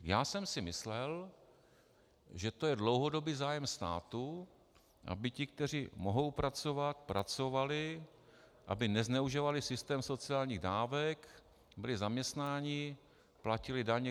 - Já jsem si myslel, že to je dlouhodobý zájem státu, aby ti, kteří mohou pracovat, pracovali, aby nezneužívali systém sociálních dávek, byli zaměstnáni, platili daně.